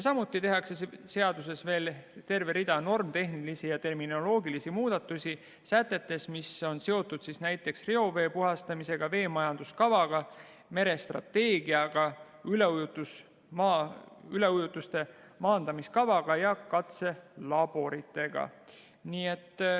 Samuti tehakse seaduses veel terve rida normitehnilisi ja terminoloogilisi muudatusi sätetes, mis on seotud näiteks reovee puhastamisega, veemajanduskavaga, merestrateegiaga, üleujutuste maandamiskavaga ja katselaboritega.